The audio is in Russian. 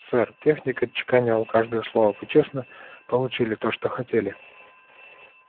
сэр техник отчеканивал каждое слово вы честно получили то что хотели